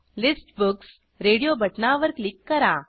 list books radio बटणावर click करा